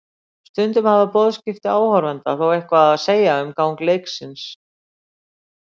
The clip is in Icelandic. Stundum hafa boðskipti áhorfenda þó eitthvað að segja um gang leiksins.